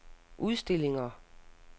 udstillinger